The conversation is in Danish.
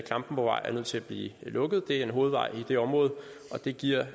klampenborgvej er nødt til at blive lukket det er en hovedvej i det område og det giver